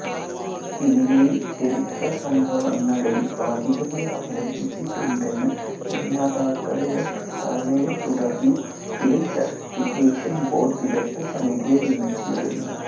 സിനിമയിൽ ചരിത്രസംഭവങ്ങളെയും ഭാഗികമായി അവലംബിച്ചിട്ടുണ്ടെന്ന നിർമാതാക്കളുടെ പ്രസ്താവനയെത്തുടർന്നു ഫിലിം സർട്ടിഫിക്കേഷൻ ബോർഡ് വിദഗ്ധ സമിതിയെ നിയമിച്ചിരുന്നു